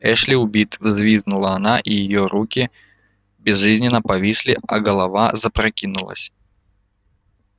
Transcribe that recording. эшли убит взвизгнула она и руки её безжизненно повисли а голова запрокинулась